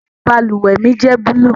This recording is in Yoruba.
Ẹni i bálúwẹ̀ mi jẹ̀ búlúù.